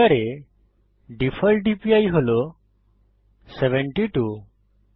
ব্লেন্ডারে default DPI হল 72